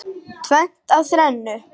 Tvennt af þrennu.